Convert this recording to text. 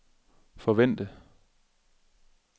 forvente